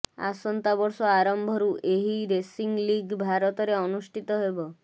ଆସନ୍ତା ବର୍ଷ ଆରମ୍ଭରୁ ଏହି ରେସିଂ ଲିଗ୍ ଭାରତରେ ଅନୁଷ୍ଠିତ ହେବ